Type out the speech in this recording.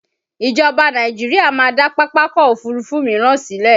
Ìjọba Nàìjíríà máa dá Pápákọ̀ Òfurufú míràn sílẹ̀